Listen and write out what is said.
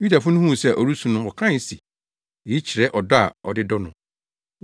Yudafo no huu sɛ ɔresu no wɔkae se, “Eyi kyerɛ ɔdɔ a ɔde dɔ no.”